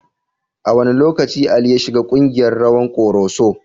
A wane lokaci Ali ya shiga kungiyar rawan Koroso?